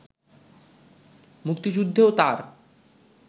মুক্তিযুদ্ধেও তার